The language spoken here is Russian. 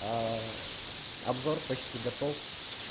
а обзор почти готов